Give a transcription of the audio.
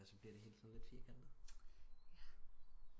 Så bliver det hele sådan lidt firkantet